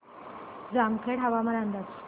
जामखेड हवामान अंदाज